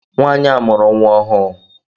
Nwanyi a mụrụ nwa ọhụụ.